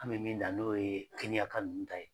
An me min dan n'o ye keniya ka nunnu ta ye.